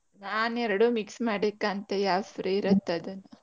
ನಾನ್ ಎರಡು mix ಮಾಡಿ ಕಾಣ್ತೆ ಯಾವ್ದು free ಇರತ್ ಅದು.